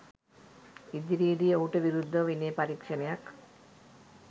ඉදිරියේදී ඔහුට විරුද්ධව විනය පරීක්ෂණයක්